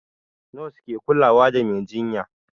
Nos ke kulawa da mai jinya